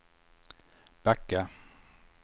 backa